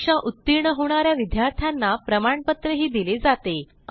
परीक्षा उत्तीर्ण होणा या विद्यार्थ्यांना प्रमाणपत्रही दिले जाते